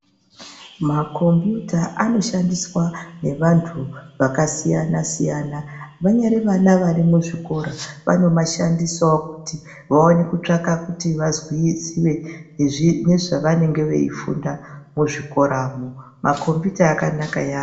Ma kombiyuta anoshandiswa nevandu vakasiyana siyana ,vanyari vana vari muzvikora vanomashandisawo kuti vaonewo kutsvaka kuti vazwisise nezvavanenge veifunda muzvikoramo, ma kombiyuta akanakayambo.